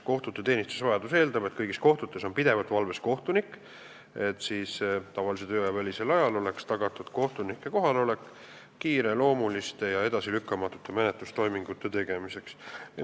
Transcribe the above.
Kohtute teenistusvajadus eeldab, et kõigis kohtutes on pidevalt valves kohtunik, et tavalise tööaja välisel ajal oleks tagatud kohtuniku kohalolek kiireloomuliste ja edasilükkamatute menetlustoimingute tegemiseks.